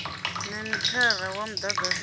na mithara wa mudagasi une